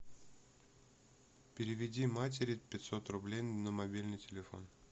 переведи матери пятьсот рублей на мобильный телефон